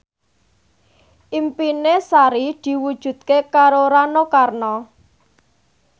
impine Sari diwujudke karo Rano Karno